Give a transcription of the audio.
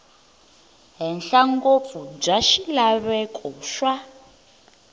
henhla ngopfu bya swilaveko swa